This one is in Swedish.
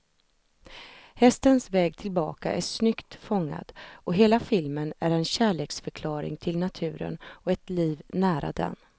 Sett på lång sikt brukar alltid aktier ge högsta avkastningen och pensionssparande är det mest långsiktiga sparandet.